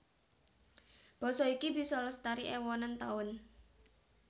Basa iki bisa lestari èwonan taun